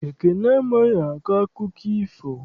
Ekene amaghị akọ akụkọ ifo.